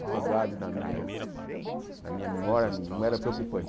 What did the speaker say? afogado na minha na minha memória, não era preocupante.